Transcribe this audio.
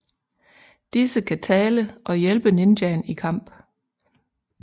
Disse kan tale og hjælpe ninjaen i kamp